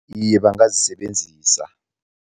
Iye, bangazisebenzisa.